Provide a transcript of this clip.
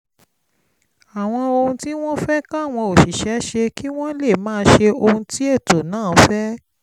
àwọn ohun tí wọ́n fẹ́ káwọn òṣìṣẹ́ ṣe kí wọ́n lè máa ṣe ohun tí ètò náà fẹ́